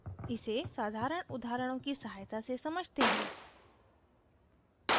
इसे साधारण उदाहरणों की सहायता से समझते हैं